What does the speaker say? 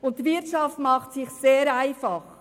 Die Wirtschaft macht es sich sehr einfach.